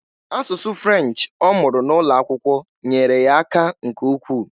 Asụsụ French ọ mụrụ N'ụlọakwụkwọ nyeere ya aka nke ukwu.